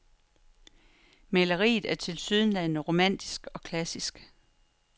Maleriet er tilsyneladende romantisk og klassisk.